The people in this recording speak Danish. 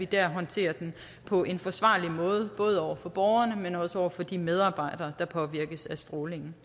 bliver håndteret på en forsvarlig måde både over for borgerne men også over for de medarbejdere der påvirkes af strålingen